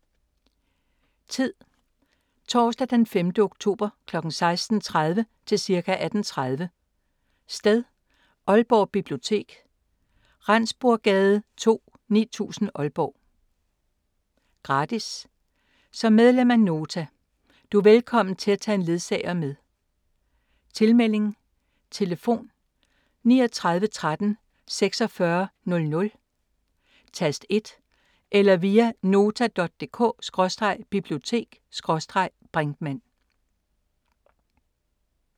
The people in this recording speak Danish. Tid: Torsdag d. 5. oktober kl. 16:30 til cirka 18:30 Sted: Aalborg Bibliotek, Rendsburggade 2, 9000 Aalborg Gratis som medlem af Nota. Du er velkommen til at tage en ledsager med Tilmelding: Tlf. 39 13 46 00 tast 1 eller via nota.dk/bibliotek/brinkmann